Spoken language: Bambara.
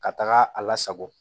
Ka taga a lasago